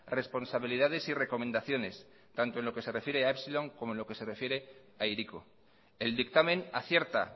responsabilidades y recomendaciones tanto en lo que se refiere a epsilon como en lo que se refiere a hiriko el dictamen acierta